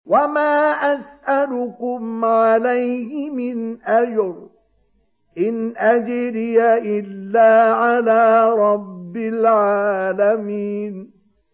وَمَا أَسْأَلُكُمْ عَلَيْهِ مِنْ أَجْرٍ ۖ إِنْ أَجْرِيَ إِلَّا عَلَىٰ رَبِّ الْعَالَمِينَ